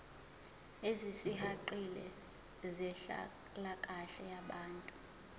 ezisihaqile zenhlalakahle yabantu